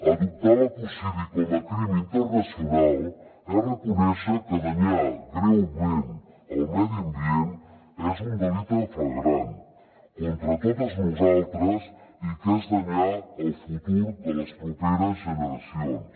adoptar l’ecocidi com a crim internacional és reconèixer que danyar greument el medi ambient és un delicte flagrant contra totes nosaltres i que és danyar el futur de les properes generacions